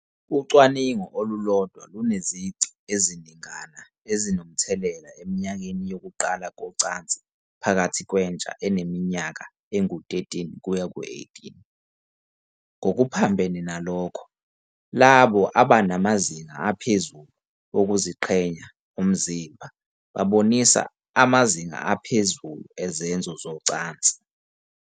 Ucwaningo olulodwa lunezici eziningana ezinomthelela eminyakeni yokuqala kocansi phakathi kwentsha eneminyaka eyi-13-18. Ngokuphambene nalokho, labo abanamazinga aphezulu wokuziqhenya ngomzimba babonisa amazinga aphezulu ezenzo zocansi.